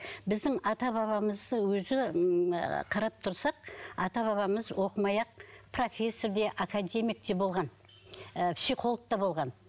біздің ата бабамыз өзі ммм ыыы қарап тұрсақ ата бабамыз оқымай ақ профессор де академик те болған ыыы психолог та болған